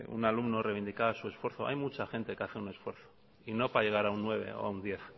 un alumno reivindicaba su esfuerzo hay mucha gente que hace un esfuerzo y no para llegar a un nueve o un diez